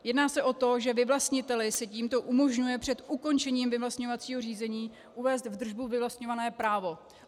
Jedná se o to, že vyvlastniteli se tímto umožňuje před ukončením vyvlastňovacího řízení uvést v držbu vyvlastňované právo.